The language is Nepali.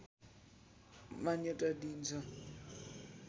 मान्यता दिइन्छ